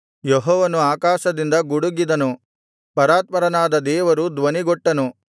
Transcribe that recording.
ಯೆಹೋವನು ಆಕಾಶದಿಂದ ಗುಡುಗಿದನು ಪರಾತ್ಪರನಾದ ದೇವರು ಧ್ವನಿಗೊಟ್ಟನು